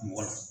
Mɔgɔ la